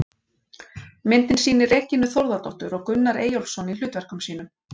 Myndin sýnir Regínu Þórðardóttur og Gunnar Eyjólfsson í hlutverkum sínum.